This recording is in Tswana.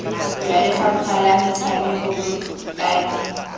jwa lefapha la metshameko botaki